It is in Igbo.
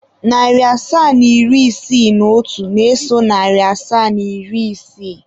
Narị asaa na iri isii na otu na-eso narị asaa na iri isii.